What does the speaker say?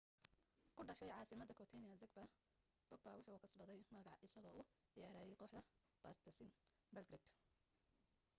ku dhashay casimada croatia zagreb bobek wuxuu kasbaday magac isagoo u ciyaarayay kooxda partizan belgrade